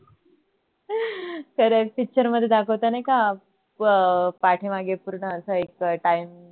खरच picture मध्ये दाखवत नाही का अह पाठी मागे पूर्ण अस एक time